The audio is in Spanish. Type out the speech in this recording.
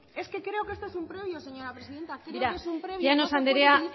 es que creo que esto es un rollo señora presidenta llanos anderea